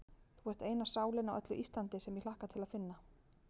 Þú ert eina sálin á öllu Íslandi, sem ég hlakka til að finna.